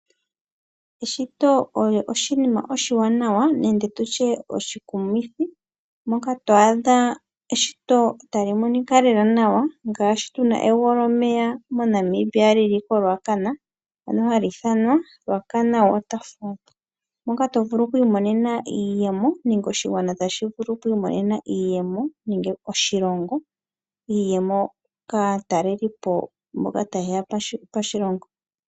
Eshito olyo oshiinima oshiwanawa nenge tu tye oshikumithi moka to adha eshito ta li monika lela nawa, ngaashi tu na egwoo lyomeya mo Namibia li li ko Ruacana ano ha li iithanwa Ruacana Waterfall, moka tovulu oku imonena iiyemo nenge oshigwana tashi vulu oku imomema iiyemo nenge oshilongo, iiyemo ka telelipo mboka ta yeya moshilongo.